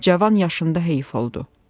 Cavan yaşında heyif oldu.